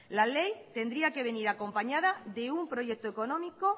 la ley tendría que venir acompañada de un proyecto económico